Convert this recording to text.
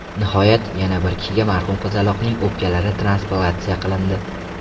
Nihoyat, yana bir kishiga marhum qizaloqning o‘pkalari transplantatsiya qilindi.